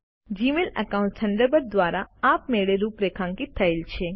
Gmail accounts Thunderbird દ્વારા આપમેળે રૂપરેખાંકિત થયેલ છે